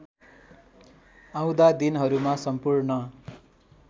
आउँदा दिनहरूमा सम्पूर्ण